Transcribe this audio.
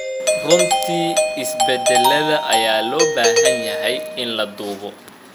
Runtii, isbeddellada ayaa loo baahan yahay in la duubo.